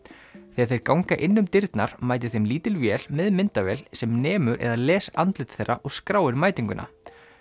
þegar þeir ganga inn um dyrnar mætir þeim lítil vél með myndavél sem nemur eða les andlit þeirra og skráir mætinguna